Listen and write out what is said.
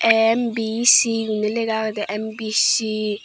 MBC gurinaye lega agade MBC.